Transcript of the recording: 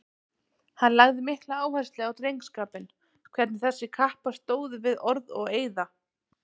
Hann lagði mikla áherslu á drengskapinn, hvernig þessir kappar stóðu við orð og eiða.